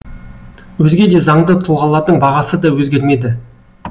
өзге де заңды тұлғалардың бағасы да өзгермеді